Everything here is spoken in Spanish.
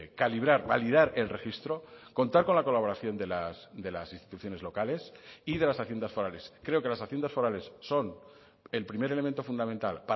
calibrar validar el registro contar con la colaboración de las instituciones locales y de las haciendas forales creo que las haciendas forales son el primer elemento fundamental